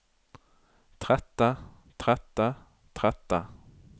trette trette trette